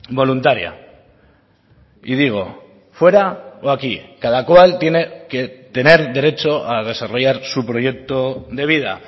voluntaria y digo fuera o aquí cada cual tiene que tener derecho a desarrollar su proyecto de vida